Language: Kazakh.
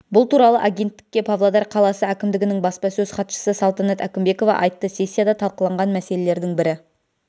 бұл туралы агенттікке павлодар қаласы әкімдігінің бапсасөз хатшысы салтанат әкімбекова айтты сессияда талқыланған мәселелердің бірі